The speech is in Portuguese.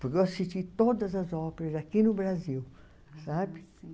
Porque eu assisti todas as óperas aqui no Brasil, sabe?